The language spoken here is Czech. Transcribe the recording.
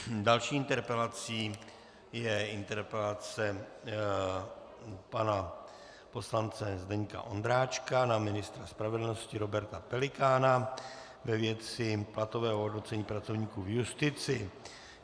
Další interpelací je interpelace pana poslance Zdeňka Ondráčka na ministra spravedlnosti Roberta Pelikána ve věci platového hodnocení pracovníků v justici.